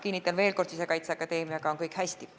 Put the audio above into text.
Kinnitan veel kord: Sisekaitseakadeemiaga on kõik hästi.